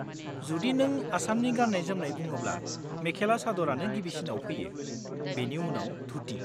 जुदि नों आसामनि गान्नाय-जोमनाय बुङोब्ला मेखेला चादरानो गिबिसिनाव फैयो, बेनि उनाव धुटि।